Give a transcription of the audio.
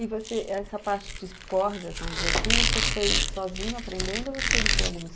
E você, essa parte des cordas, vamos dizer assim, você foi sozinho aprendendo ou você entrou em alguma